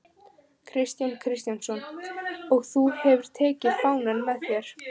Kristján Kristjánsson: Og þú hefur tekið fánann með þér?